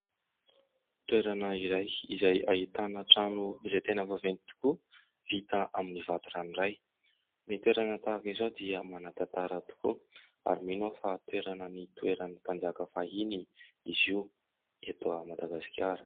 Toerana iray izay ahitana trano izay tena vaventy tokoa vita avy amin'ny vato ranoray. Ny toerana tahaka izao dia tena manan-tantara tokoa, ary mino aho fa toerana nitoeran'ny mpanjaka fahiny izy io eto Madagasikara.